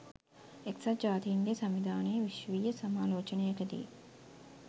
එක්සත් ජාතීන්ගේ සංවිධානයේ විශ්වීය සමාලෝචනයකදී